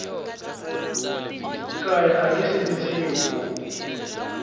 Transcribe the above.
kaya a nge sindzisiwi ku